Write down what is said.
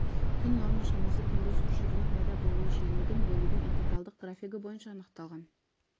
түн норма шамасы түнгі су шығыны пайда болуы жиілігін бөлудің интегралдық графигі бойынша анықталған